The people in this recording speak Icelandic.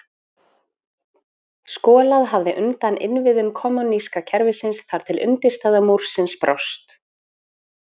skolað hafði undan innviðum kommúníska kerfisins þar til undirstaða múrsins brást